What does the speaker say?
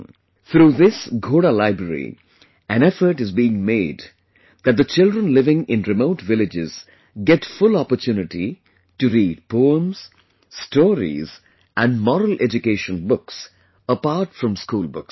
Through this Ghoda Library, an effort is being made that the children living in remote villages get full opportunity to read 'poems', 'stories' and 'moral education' books apart from school books